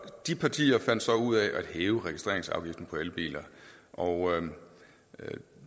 de partier fandt så ud af at hæve registreringsafgiften på elbiler og